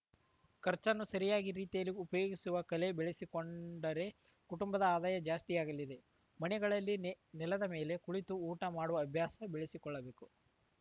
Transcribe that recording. ಖರ್ಚನ್ನು ಸರಿಯಾಗಿ ರೀತಿಯಲ್ಲಿ ಉಪಯೋಗಿಸುವ ಕಲೆ ಬೆಳೆಸಿ ಕೊಂಡರೆ ಕುಟುಂಬದ ಆದಾಯ ಜಾಸ್ತಿಯಾಗಲಿದೆ ಮನೆಗಳಲ್ಲಿ ನೆ ನೆಲದ ಮೇಲೆ ಕುಳಿತು ಊಟ ಮಾಡುವ ಅಭ್ಯಾಸ ಬೆಳೆಸಿಕೊಳ್ಳಬೇಕು